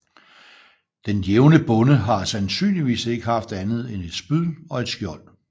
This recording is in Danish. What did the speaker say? Den jævne bonde har sandsynligvis ikke haft andet end et spyd og et skjold